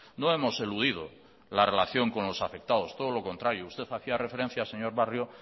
no hemos eludido la relación con los afectados todo lo contrario usted hacía referencia señor barrio